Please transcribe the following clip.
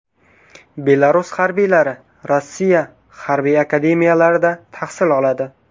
Belarus harbiylari Rossiya harbiy akademiyalarida tahsil oladi.